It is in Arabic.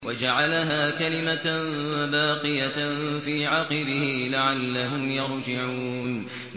وَجَعَلَهَا كَلِمَةً بَاقِيَةً فِي عَقِبِهِ لَعَلَّهُمْ يَرْجِعُونَ